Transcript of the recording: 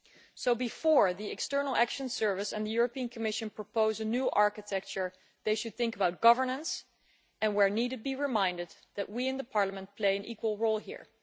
So before the European External Action Service and the Commission propose a new architecture, they should think about governance and, where needed, be reminded that we in Parliament play an equal role here.